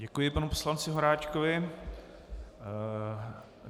Děkuji panu poslanci Horáčkovi.